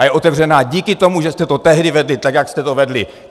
A je otevřená díky tomu, že jste to tehdy vedli tak, jak jste to vedli.